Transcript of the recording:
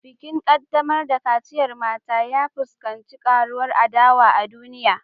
Bikin kaddamar da kaciyar mata, ya fuskanci karuwar adawa a duniya